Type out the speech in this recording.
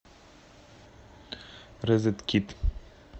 розеткид